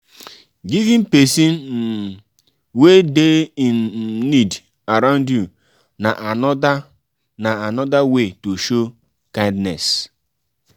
giving persin um wey de in um need around you na another na another way to show kindness